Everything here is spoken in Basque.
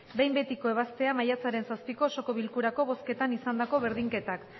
behin betiko ebaztea maiatzaren zazpiko osoko bilkurako bozketan izandako berdinketak